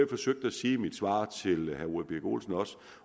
forsøgte at sige i mit svar til herre ole birk olesen